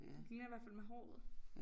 Det ligner hvert fald med håret